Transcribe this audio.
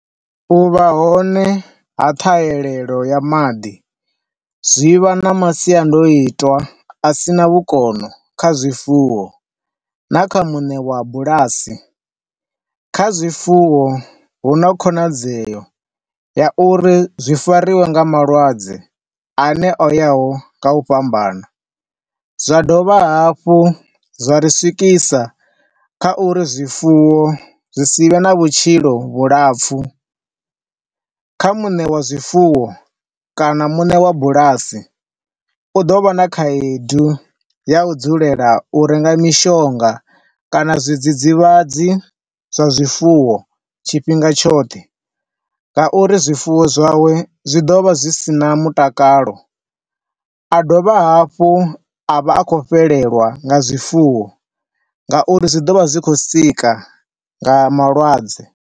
Uvha hone ha ṱhaelelo ya maḓi zwi vha na masiandoitwa a sina vhukono kha zwifuwo na kha muṋe wa bulasi. Kha zwifuwo huna khonadzeo ya uri zwi fariwe nga malwadze ane oya ho nga u fhambana, zwa dovha hafhu zwa ri swikisa kha uri zwifuwo zwi sivhe na vhutshilo vhulapfu. Kha muṋe wa zwifuwo kana muṋe wa bulasi, u ḓo vha na khaedu ya u dzulela u renga mishonga kana zwi dzidzivhadzi zwa zwifuwo tshifhinga tshoṱhe, ngauri zwifuwo zwawe zwi ḓo vha zwi si na mutakalo. A dovha hafhu a vha a khou fhelelwa nga zwifuwo nga uri zwi ḓo vha zwi tshi khou sika nga malwadze.